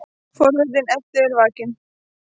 Forvitni Eddu er vakin.